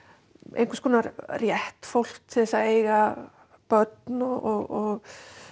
einhvers konar rétt fólks til að eiga börn og